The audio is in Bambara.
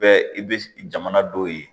Bɛɛ i bɛ jamana dɔw ye